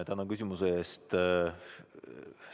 Tänan küsimuse eest!